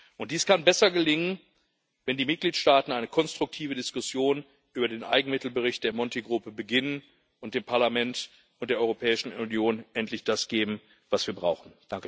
Und dies kann besser gelingen, wenn die Mitgliedstaaten eine konstruktive Diskussion über den Eigenmittelbericht der Monti-Gruppe beginnen und dem Parlament und der Europäischen Union endlich das geben, was wir brauchen.